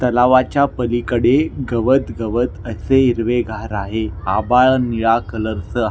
तलावाच्या पलिकडे गवत गवत असे हिरवेगार आहे आभाळ निळा कलर च--